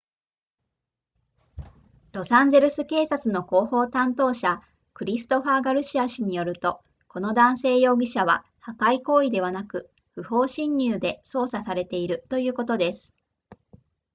ロサンゼルス警察の広報担当者クリストファーガルシア氏によるとこの男性容疑者は破壊行為ではなく不法侵入で捜査されているということです